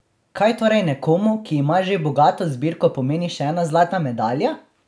Kaj torej nekomu, ki ima že bogato zbirko, pomeni še ena zlata medalja?